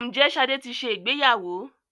Ǹjẹ́ Ṣadé ti ṣe ìgbéyàwó?